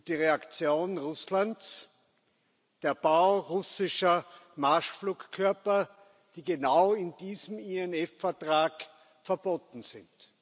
Die Reaktion Russlands Der Bau russischer Marschflugkörper, die genau in diesem INF Vertrag verboten sind.